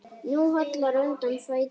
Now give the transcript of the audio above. Nú hallar undan fæti.